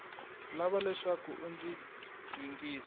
lava leswaku u ndzi yingisa